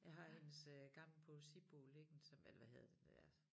Jeg har hendes øh gamle poesibog liggende som eller hvad hedder det der ja